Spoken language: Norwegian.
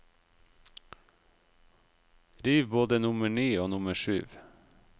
Riv både nummer ni og nummer syv.